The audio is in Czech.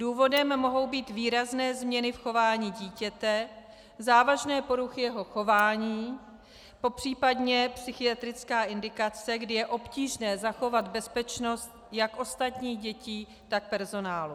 Důvodem mohou být výrazné změny v chování dítěte, závažné poruchy jeho chování, popřípadě psychiatrická indikace, kdy je obtížné zachovat bezpečnost jak ostatních dětí, tak personálu.